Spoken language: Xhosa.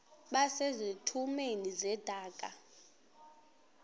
base zitulmeni zedaka